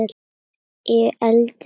Ég eldist.